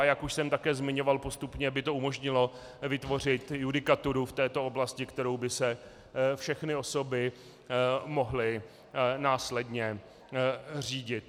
A jak už jsem také zmiňoval, postupně by to umožnilo vytvořit judikaturu v této oblasti, kterou by se všechny osoby mohly následně řídit.